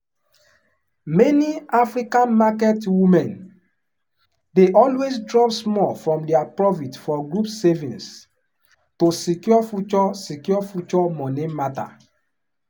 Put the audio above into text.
many african market women dey always drop small from their profit for group savings to secure future secure future money matter.